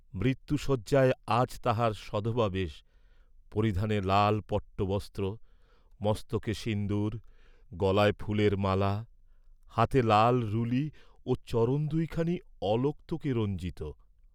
মৃত্যুশয্যায় আজ তাঁহার সধবা বেশ, পরিধানে লাল পট্টবস্ত্র, মস্তকে সিন্দুর, গলায় ফুলের মালা, হাতে লাল রুলি ও চরণ দুইখানি অলক্তকে রঞ্জিত।